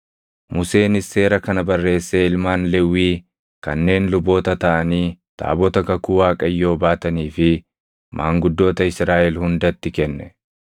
Museenis seera kana barreessee ilmaan Lewwii kanneen luboota taʼanii taabota kakuu Waaqayyoo baatanii fi maanguddoota Israaʼel hundatti kenne.